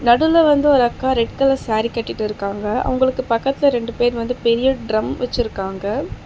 அதுல வந்து ஒரு அக்கா ரெட் கலர் சாரி கட்டிட்டு இருக்காங்க அவங்களுக்கு பக்கத்துல ரெண்டு பேரு பெரிய ட்ரம் வச்சுட்டுருக்காங்க.